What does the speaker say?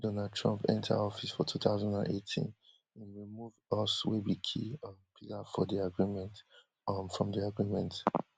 donald trump enter office for two thousand and eighteen im remove us wey be key um pillar for di agreement um from di agreement